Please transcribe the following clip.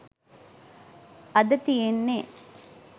අද තියෙන්නේ